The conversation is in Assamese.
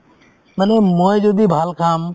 মানে মই যদি ভাল খাম